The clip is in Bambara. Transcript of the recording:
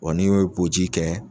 Wa n'u ye boji kɛ